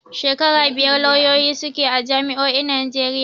Shekara biyar lauyoyi suke a jami'o'in Najeriya.